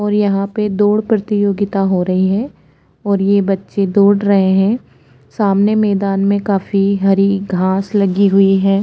और यहाँ पे दोड़ प्रतियोगिता हो रही है और ये बच्चे दोड़ रहे है सामने मैदान में काफी सारी हरी घास लगी हुई है।